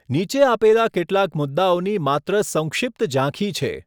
નીચે આપેલા કેટલાક મુદ્દાઓની માત્ર સંક્ષિપ્ત ઝાંખી છે.